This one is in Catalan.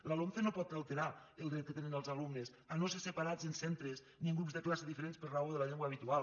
la lomce no pot alterar el dret que tenen els alumnes a no ser separats en centres ni en grups de classe diferents per raó de la llengua habitual